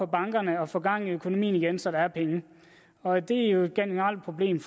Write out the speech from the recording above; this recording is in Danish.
bankerne og få gang i økonomien igen så der er penge og det er jo et generelt problem